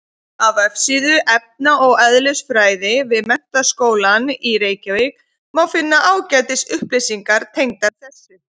Á vefsíðu efna- og eðlisfræði við Menntaskólann í Reykjavík má finna ágætis upplýsingar tengdar þessu.